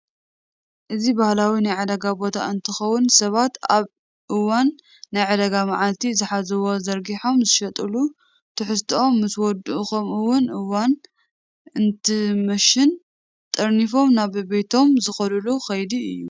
እዚ ባህላዊ ናይ ዕዳጋ ቦታ እንትኸውን ሰባት ኣብ እዋን ናይ ዕዳጋ መዓልቲ ዝሓዝዎ ዘርጊሖም ዝሸጥሉን ትሕዝትኦም ምስ ወድኡን ከምኡውን እዋን እንትመሽን ጠሪኒፎም ናብ ቤቤቶም ዝኸድሉ ከይዲ እዩ።